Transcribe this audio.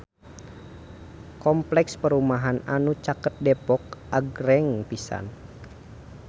Kompleks perumahan anu caket Depok agreng pisan